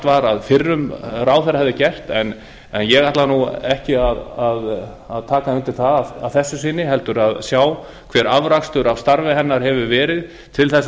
var að fyrrum ráðherra hefði gert en ég ætla ekki að taka undir það að þessu sinni heldur sjá hver afrakstur af starfi hennar hefur verið til þess að